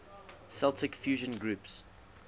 celtic fusion groups